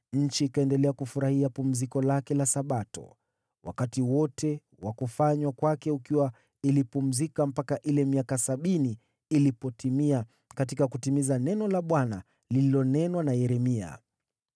Nchi ikaendelea kufurahia pumziko lake la Sabato, wakati wote wa kufanywa kwake ukiwa ilipumzika mpaka ile miaka sabini ilipotimia katika kutimiza neno la Bwana lililonenwa na Yeremia.